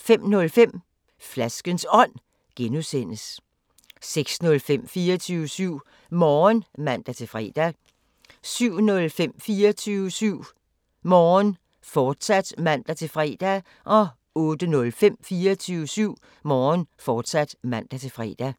05:05: Flaskens Ånd (G) 06:05: 24syv Morgen (man-fre) 07:05: 24syv Morgen, fortsat (man-fre) 08:05: 24syv Morgen, fortsat (man-fre)